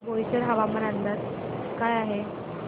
बोईसर हवामान अंदाज काय आहे